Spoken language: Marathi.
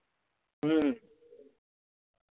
हम्म